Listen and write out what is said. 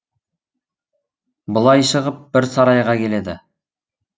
былай шығып бір сарайға келеді